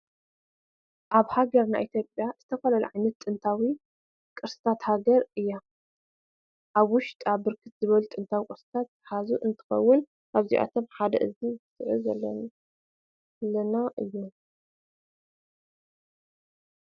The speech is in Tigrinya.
አብ ሃገርና ኢትዮጲያ ዝተፈላለዩ ዓይነታት ጥታዊ ቅርስታት ሃገር እያ። አብ ውሸጣ ብርክት ዝበሉ ጥታዊ ቅርስታተ ዝሓዘት እንትትከውን ካብዚአቶም ሓደ እዚ እንዕዘቦ ዘለና እዩ።